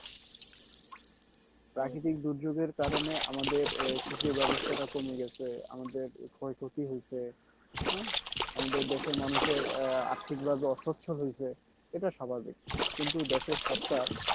প্রাকৃতিক দুর্যোগের কারণে আমাদের এই কৃষি ব্যবস্থাটা কমে গেছে আমাদের ক্ষয়ক্ষতি হয়েছে হ্যাঁ আমাদের দেশের মানুষের আহ আর্থিক ভাবে অসচ্ছল হয়েছে এটা স্বাভাভিক কিন্তু দেশের সরকার